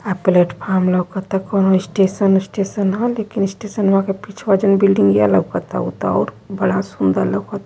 आ platform लउकता कोनो station उशटेशन ह लेकिन स्टेशनवा के पीछबा जोन बिल्ड़िंगिया लउकता उ त और बड़ा सुन्दर लउकता --